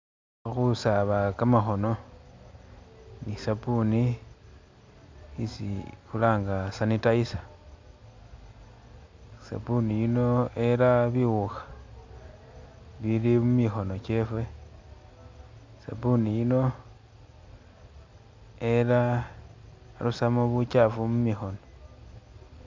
Khusaaba kamakhoono ni sabuni isi khulanga sanitizer, sabuni yuno erra biwuukha bili mumikhono kyefe, sabuni yuno erra... arusamo buchafu mumikhono